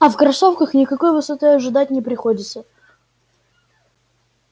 а в кроссовках никакой высоты ожидать не приходится